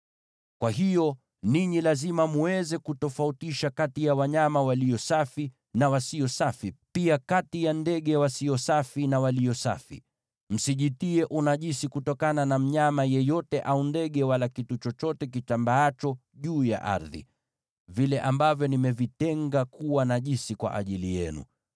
“ ‘Kwa hiyo, ninyi lazima mweze kutofautisha kati ya wanyama walio safi na wasio safi, pia kati ya ndege wasio safi na walio safi. Msijitie unajisi kutokana na mnyama yeyote, au ndege, wala kitu chochote kitambaacho juu ya ardhi, vile ambavyo nimevitenga kuwa najisi kwa ajili yenu.